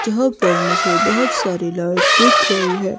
जहाँ पर मुझे बहोत सारे लाइट्स दिख रहीं हैं।